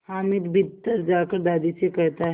हामिद भीतर जाकर दादी से कहता